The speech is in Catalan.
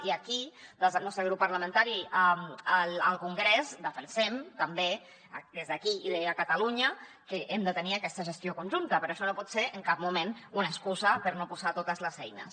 i aquí des del nostre grup parlamentari al congrés defensem també des d’aquí i a catalunya que hem de tenir aquesta gestió conjunta però això no pot ser en cap moment una excusa per no posar hi totes les eines